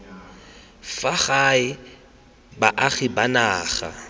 fa gae baagi ba naga